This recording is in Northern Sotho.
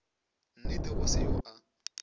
nnete go se yo a